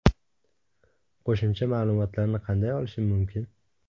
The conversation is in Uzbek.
Qo‘shimcha ma’lumotlarni qanday olishim mumkin?